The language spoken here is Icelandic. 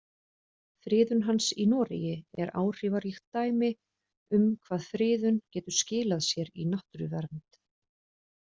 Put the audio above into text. Friðun hans í Noregi er áhrifaríkt dæmi um hvað friðun getur skilað sér í náttúruvernd.